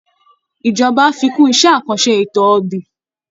Ìjọba á fi kún iṣẹ́ àkànṣe ètò ọ̀gbìn